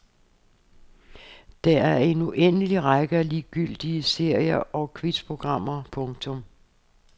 Der er en uendelig række af ligegyldige serier og quizprogrammer. punktum